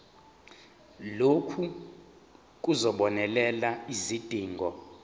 lokhu kuzobonelela izidingo